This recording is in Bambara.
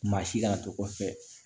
Maa si kana to kɔfɛ